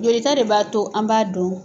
Jolita de b'a to an b'a dɔn